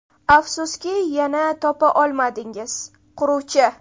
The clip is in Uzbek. Afsuski, yana topa olmadingiz: quruvchi!